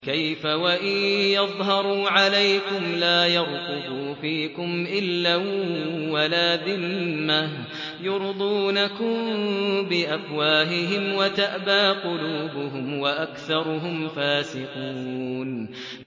كَيْفَ وَإِن يَظْهَرُوا عَلَيْكُمْ لَا يَرْقُبُوا فِيكُمْ إِلًّا وَلَا ذِمَّةً ۚ يُرْضُونَكُم بِأَفْوَاهِهِمْ وَتَأْبَىٰ قُلُوبُهُمْ وَأَكْثَرُهُمْ فَاسِقُونَ